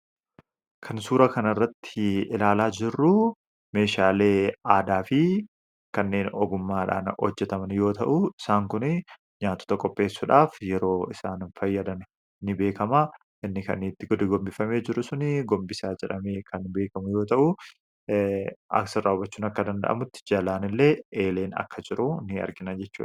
Kan suura kanarratti ilaalaa jirru meeshaalee aadaa fi kanneen ogummaadhaan hojjetaman yoo ta'u, isaan kun nyaatota qopheessuudhaaf yeroo isaan fayyadan ni beekama. Inni gadi gombifamee jiru suni gombisaa jedhamee kan beekamu yoo ta'u, asirraa hubachuun akka danda'amutti jalaan illee eelee ni argina jechuudha.